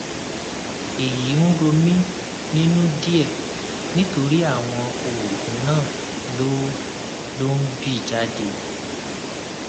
èyí ń rò mí nínú díẹ nítorí àwọn oògùn náà ló ló ń bì jáde